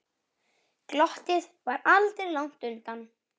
Glottið var aldrei langt undan.